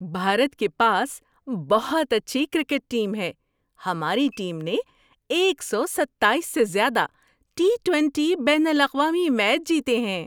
بھارت کے پاس بہت اچھی کرکٹ ٹیم ہے۔ ہماری ٹیم نے ایک سو ستائیس سے زیادہ ٹی ٹونٹی بین الاقوامی میچ جیتے ہیں۔